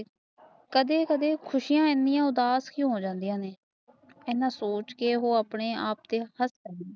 ਕਦੇ ਕਦੇ ਖੁਸ਼ੀਆ ਇਨੀਆਂ ਉਦਾਸ਼ ਵੀ ਹੋ ਜਾਂਦੀਆਂ ਹਨ ਅਨਾ ਸੋਚਕੇ ਉਹ ਆਪਣੇ ਹਾਸ਼ ਲੈਣੀ ਆ